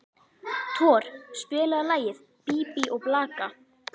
Thor, spilaðu lagið „Bí bí og blaka“.